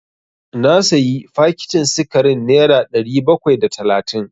Na sayi fakitin sikarin nera ɗari bakwai da talatin.